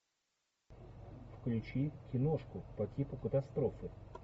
включи киношку по типу катастрофы